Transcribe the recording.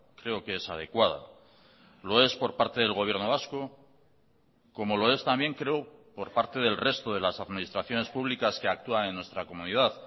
creo que es adecuada lo es por parte del gobierno vasco como lo es también creo por parte del resto de las administraciones públicas que actúan en nuestra comunidad